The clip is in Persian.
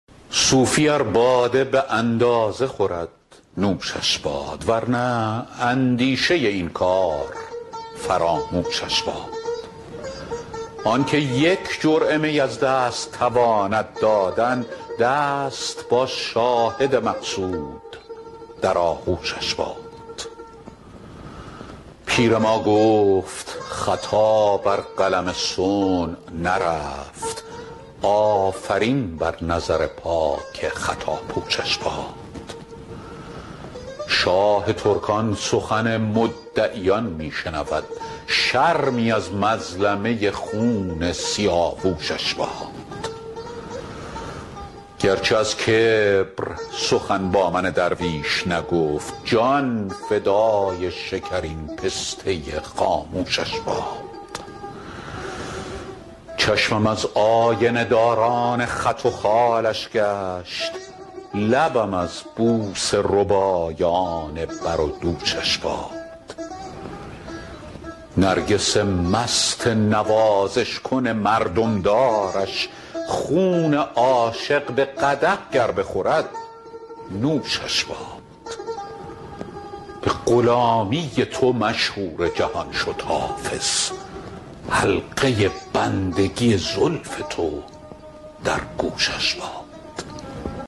صوفی ار باده به اندازه خورد نوشش باد ور نه اندیشه این کار فراموشش باد آن که یک جرعه می از دست تواند دادن دست با شاهد مقصود در آغوشش باد پیر ما گفت خطا بر قلم صنع نرفت آفرین بر نظر پاک خطاپوشش باد شاه ترکان سخن مدعیان می شنود شرمی از مظلمه خون سیاوشش باد گر چه از کبر سخن با من درویش نگفت جان فدای شکرین پسته خاموشش باد چشمم از آینه داران خط و خالش گشت لبم از بوسه ربایان بر و دوشش باد نرگس مست نوازش کن مردم دارش خون عاشق به قدح گر بخورد نوشش باد به غلامی تو مشهور جهان شد حافظ حلقه بندگی زلف تو در گوشش باد